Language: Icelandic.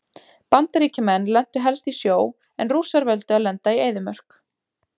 Bandaríkjamenn lentu helst í sjó en Rússar völdu að lenda í eyðimörk.